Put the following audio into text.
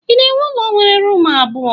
Ị na-ewu ụlọ nwere rumụ abụọ?